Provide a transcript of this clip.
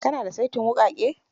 Ki na da saitin wuƙake?